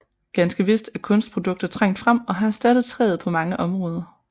Ganske vist er kunstprodukter trængt frem og har erstattet træet på mange områder